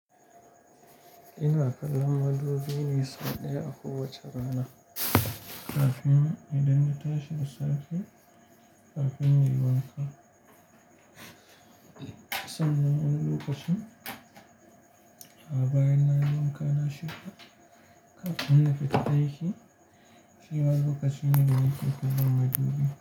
Ina kallon madubi ne so ɗaya a kowace rana. Kafin idan na tashi da safe kafin in yi wanka. Sanin wani lokacin a bayan nayi wanka na shirya kafin na fita aiki. Shine a lokacin nan da nake kallon madubin.